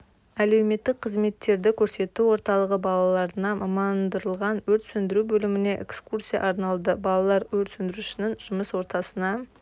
әлеуметтік қызметтерді көрсету орталығы балаларына мамандырылған өрт сөндіру бөліміне экскурсия арналды балалар өрт сөндірушінің жұмыс ортасына